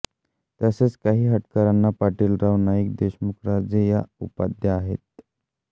तसेच काही हटकरांना पाटील राव नाईक देशमुख राजे या उपाध्या आहेत